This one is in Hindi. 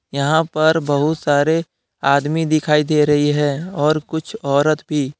यहां पर बहुत सारे आदमी दिखाई दे रही है और कुछ औरत भी।